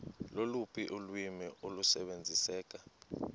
loluphi ulwimi olusebenziseka